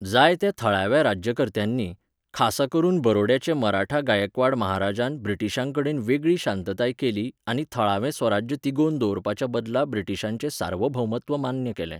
जायत्या थळाव्या राज्यकर्त्यांनी, खासा करून बरोड्याचे मराठा गायकवाड महाराजान ब्रिटिशांकडेन वेगळी शांतताय केली आनी थळावें स्वराज्य तिगोवन दवरपाच्या बदला ब्रिटीशांचें सार्वभौमत्व मान्य केलें.